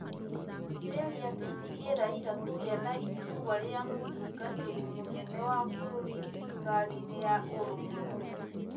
kĩrĩa gĩateithirie Raila kũgĩa na iturwa rĩa mũtungatĩri mũnene wa bũrũri thirikari-inĩ ya Ũrũmwe Mũnene.